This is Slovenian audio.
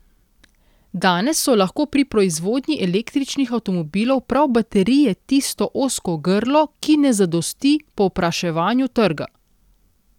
Danes so lahko pri proizvodnji električnih avtomobilov prav baterije tisto ozko grlo, ki ne zadosti povpraševanju trga.